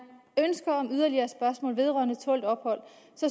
ønsker om yderligere spørgsmål vedrørende tålt ophold